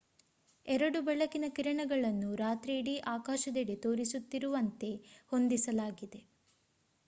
ಎರಡು ಬೆಳಕಿನ ಕಿರಣಗಳನ್ನು ರಾತ್ರಿಯಿಡೀ ಆಕಾಶದೆಡೆ ತೋರಿಸುತ್ತಿರುವಂತೆ ಹೊಂದಿಸಲಾಗಿದೆ